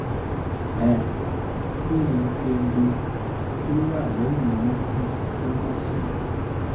um kini kengbe to wa leyin orun kun tun mo si